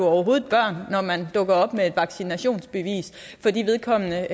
overhovedet har børn når man dukker op med et vaccinationsbevis fordi vedkommende